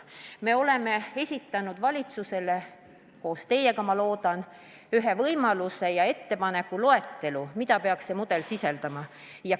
Me oleme esitanud valitsusele – see sünnib ehk koos teiega, ma loodan –, ettepanekud, mida peaks see mudel sisaldama.